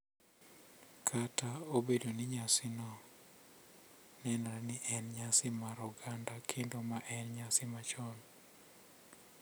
Kata obedo ni nyasino nenore ni en nyasi mar oganda kendo ma en nyasi machon, .